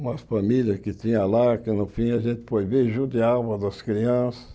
Uma família que tinha lá, que no fim a gente foi ver, judiava das crianças.